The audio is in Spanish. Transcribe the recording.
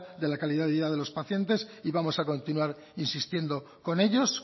de la calidad de vida de los pacientes y vamos a continuar insistiendo con ellos